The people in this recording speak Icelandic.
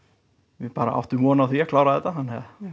við bara áttum von á því að klára þetta já